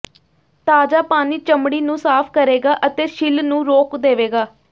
ਤਾਜ਼ਾ ਪਾਣੀ ਚਮੜੀ ਨੂੰ ਸਾਫ਼ ਕਰੇਗਾ ਅਤੇ ਛਿੱਲ ਨੂੰ ਰੋਕ ਦੇਵੇਗਾ